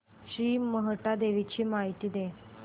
श्री मोहटादेवी ची मला माहिती दे